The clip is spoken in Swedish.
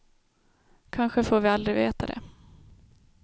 Kanske får vi aldrig veta det.